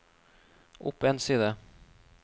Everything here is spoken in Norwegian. opp en side